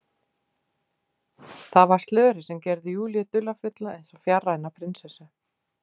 Það var slörið sem gerði Júlíu dularfulla, eins og fjarræna prinsessu.